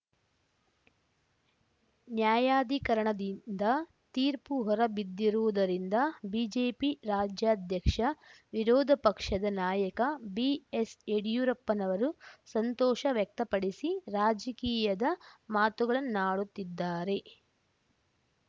ನ್ಯಾಯಾಧೀಕರಣದಿಂದ ತೀರ್ಪು ಹೊರಬಿದ್ದಿರುವುದರಿಂದ ಬಿಜೆಪಿ ರಾಜ್ಯಾಧ್ಯಕ್ಷ ವಿರೋಧ ಪಕ್ಷದ ನಾಯಕ ಬಿಎಸ್‌ ಯಡಿಯೂರಪ್ಪನವರು ಸಂತೋಷ ವ್ಯಕ್ತಪಡಿಸಿ ರಾಜಕೀಯದ ಮಾತುಗಳನ್ನಾಡುತ್ತಿದ್ದಾರೆ